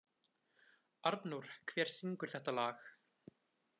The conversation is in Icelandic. Arnór, hver syngur þetta lag?